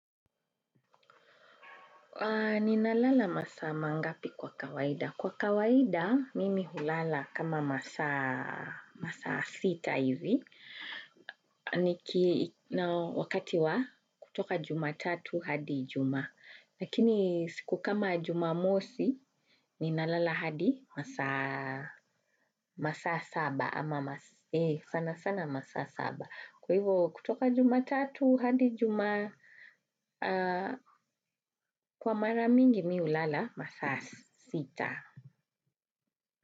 Ninalala masaa mangapi kwa kawaida. Kwa kawaida, mimi hulala kama masaa sita hivi. Wakati wa kutoka jumatatu hadi ijumaa lakini siku kama jumamosi, ninalala hadi masaa saba ama sana sana masaa saba. Kwa hivyo kutoka jumatatu hadi juma kwa mara mingi mi hulala masaa sita.